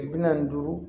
Kile bi naani ni duuru